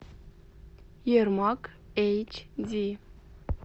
ермак эйч ди